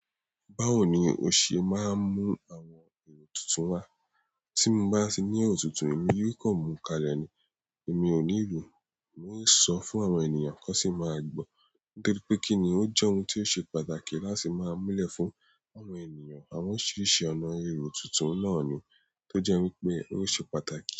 Báwo ni o ṣe máa ń mú àwọn èrò tuntun wá? Tí mo bá tiní otuntun, èmi yóò kọ́ ọ mú kalẹ̀ ni. Èmi ò ní lo, oun sọfún àwọn ènìyàn kó sì máa gbọ́. Torí pé kí ni ó jẹ́ ohun tí ó ṣe pàtàkì láti máa múlẹ̀ fún àwọn ènìyàn àwọn orisiriṣí ọ̀nà èrò tuntun náà ni, tó jẹ́ wípé ó ṣe pàtàkì.